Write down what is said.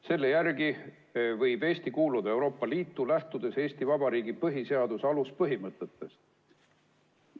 Selle järgi võib Eesti kuuluda Euroopa Liitu, lähtudes Eesti Vabariigi põhiseaduse aluspõhimõtetest.